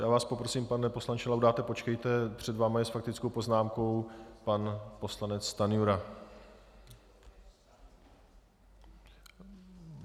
Já vás poprosím, pane poslanče Laudáte, počkejte, před vámi je s faktickou poznámkou pan poslanec Stanjura.